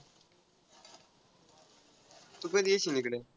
तू कधी येशील इकडं.